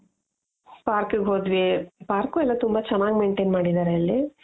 park ಗೆ ಹೊದ್ವಿ park ಎಲ್ಲಾ ತುಂಬಾ ಚೆನಾಗ್ maintain ಮಾಡಿದಾರೆ ಅಲ್ಲಿ .